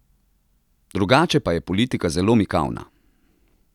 Drugače pa je politika zelo mikavna.